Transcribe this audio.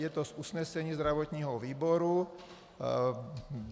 Je to z usnesení zdravotního výboru.